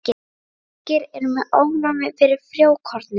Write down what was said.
Margir eru með ofnæmi fyrir frjókornum.